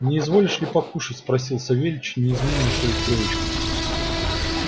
не изволишь ли покушать спросил савельич неизменный в своих привычках